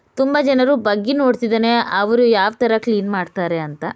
ತುಂಬ ಜನರು ಬಗ್ಗಿ ನೋಡ್ತಿದ್ದಾರೆ ಅವರು ಯಾವ್ ತರ ಕ್ಲೀನ್ ಮಾಡ್ತಾರೆ ಅಂತ